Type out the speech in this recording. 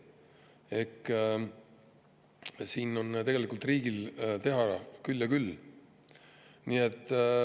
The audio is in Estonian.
Nii et siin on tegelikult riigil teha küll ja küll.